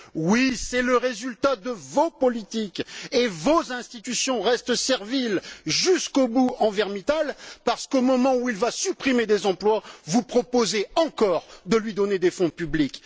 Oui, c'est le résultat de vos politiques, et vos institutions restent serviles jusqu'au bout envers Mittal, parce qu'au moment où il va supprimer des emplois, vous proposez encore de lui donner des fonds publics.